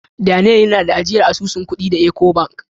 Daniel yana da asusun ajiyan kudi da " Ecobank".